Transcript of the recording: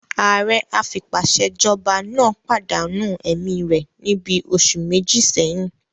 Ààrẹ afipásèjọba náà pàdánù ẹ̀mí rẹ̀ níbi oṣù méjì sẹ́yìn